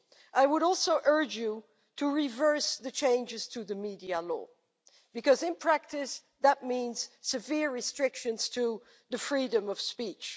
I would also urge you to reverse the changes to the media law, because in practice it means severe restrictions on freedom of speech.